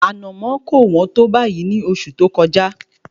Ànàmọ́ kò wọ́n tó báyìí ní oṣù tí ó kọjá